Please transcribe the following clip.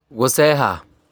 Gũceeha